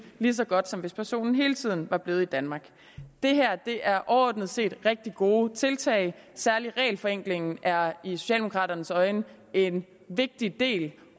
lige så godt som hvis personen hele tiden var blevet i danmark det her er overordnet set rigtig gode tiltag særlig regelforenklingen er i socialdemokraternes øjne en vigtig del